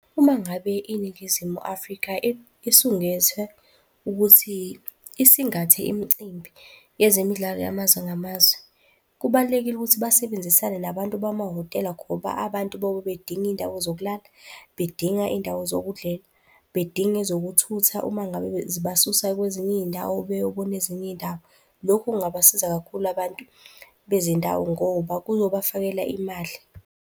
Uma ngabe iNingizimu Afrika isungethe ukuthi, isingathe imicimbi yezemidlalo yamazwe ngamazwe, kubalulekile ukuthi basebenzisane nabantu bamahhotela ngoba abantu bayobe bedinga iy'ndawo zokulala, bedinga iy'ndawo zokudlela, bedinga ezokuthutha uma ngabe zibasusa kwezinye iy'ndawo beyobona ezinye iy'ndawo. Lokhu kungabasiza kakhulu abantu bezindawo ngoba kuyobafakela imali.